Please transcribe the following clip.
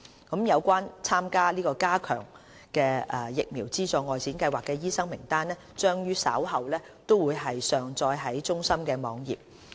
有關參加加強的疫苗資助外展計劃的醫生名單將於稍後上載至中心網頁。